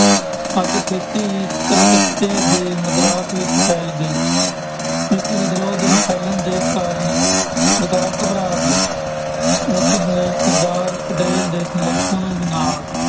ਅੱਗ ਛੇਤੀ ਹੀ ਕਲਕੱਤੇ ਦੇ ਮਦਰਾਸ ਵਿੱਚ ਫੈਲ ਗਈ, ਇਸ ਵਿਦਰੋਹ ਦੇ ਫੈਲਣ ਦੇ ਕਾਰਨ ਸਰਕਾਰ ਘਬਰਾ ਗਈ, ਉਸਨੇ ਸਰਦਾਰ ਪਟੇਲ ਦੇ ਸਮਰਥਨ ਨਾਲ